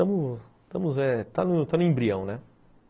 Estamos... Estamos, é... Está no embrião, né?